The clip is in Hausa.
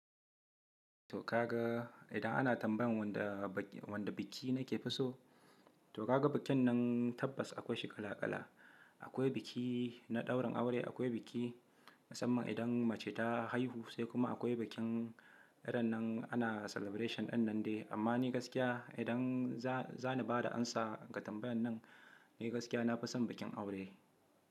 To ka ga idan ana tambayan wanda biki nike fi so, to ka ga bikin nan tabbas akwai shi kala kala. Akwai biki na ɗaurin aure, akwai biki musamman idan mace ta haihu sai kuma akwai bikin irin nan ana celebration ɗin nan dai. Amma ni gaskiya idan za ni bada amsa ga tambayan nan, ni gaskiya na fison bikin aure.